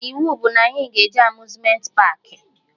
Iwu bụ na anyị ga-eje Amuzmenti paakị!